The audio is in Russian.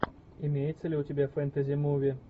имеется ли у тебя фэнтези муви